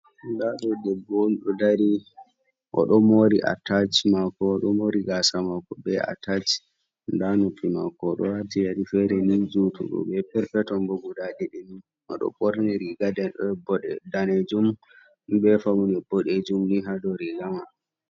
Ndaa ɗo debbo on ɗo dari, o ɗo moori atac maako, o ɗo moori gaasa maako bee atac, ndaa nofi maako, o ɗo waati yari feere ni juutugo bee perpeton boo guda ɗiɗi, o ɗo ɓorni riiga daneejum bee fawne boɗeejum ni haa dow riiga man.